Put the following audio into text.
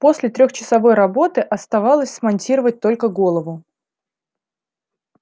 после трехчасовой работы оставалось смонтировать только голову